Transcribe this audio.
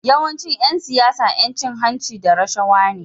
Yawancin Yan siyara Yan cin hanci da rashawa ne